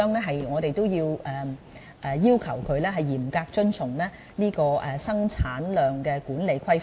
所以，我們會要求製造商嚴格遵從生產質量管理規範。